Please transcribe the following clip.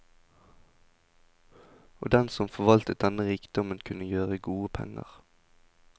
Og den som forvaltet denne rikdommen kunne gjøre gode penger.